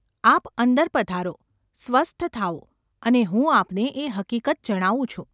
આપ અંદર પધારો, સ્વસ્થ થાઓ અને હું આપને એ હકીકત જણાવું છું.